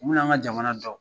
mun yan ka jamana dɔn.